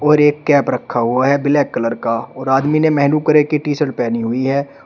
और एक कैप रखा हुआ है ब्लैक कलर का और आदमी ने महेनु कलर कि टी शर्ट पहनी हुई है।